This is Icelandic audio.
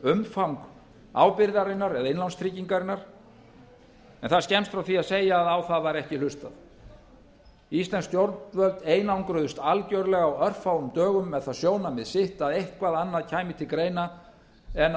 umfang ábyrgðarinnar eða innlánstryggingarinnar en það er skemmst frá því að segja að á það var ekki hlustað íslensk stjórnvöld einangruðust algerlega á örfáum dögum með það sjónarmið sitt að eitthvað annað kæmi til greina en að